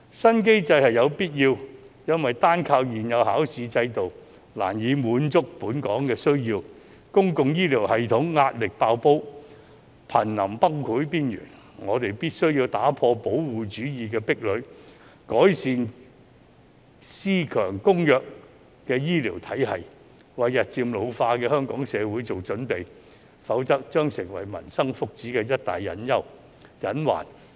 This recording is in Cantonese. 新機制是有必要的，因為單靠現有的考試制度難以滿足本港的需求，公共醫療系統壓力"爆煲"，瀕臨崩潰邊緣，我們必須打破保護主義的壁壘，改善私強公弱的醫療體系，為日漸老化的香港社會做準備，否則將成為民生福祉的一大隱患。